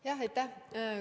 Aitäh!